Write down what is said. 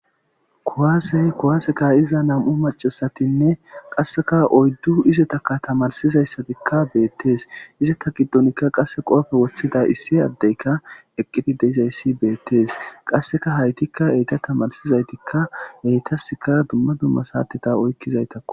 Kuwaasey kuwaaseka iza nam7u macasatinne qasseka oyddu izetakka tamarsizayssatikka beettees izata giddonikka qasse qoofe woththida issi addeyka eqqiti deizayssi beettees qasseka haytikka eyta tamarsizaytikka eytaska dumma dumma saatita oykkizaytakku.